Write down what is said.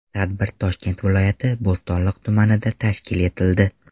Tadbir Toshkent viloyati, Bo‘stonliq tumanida tashkil etildi.